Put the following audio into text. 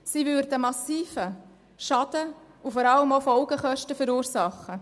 Diese würden massiven Schaden und vor allem auch Folgekosten verursachen.